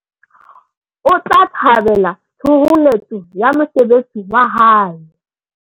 o tla thabela thoholetso ya mosebetsi wa hae